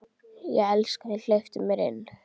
Ég elska þig, hleyptu mér inn.